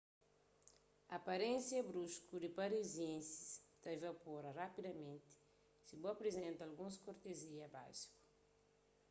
aparénsia brusku di parisienses ta ivapora rapidamenti si bu aprizenta alguns kortezia básiku